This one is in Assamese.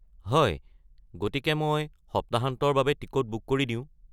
হয়, গতিকে মই সপ্তাহান্তৰ বাবে টিকট বুক কৰি দিওঁ।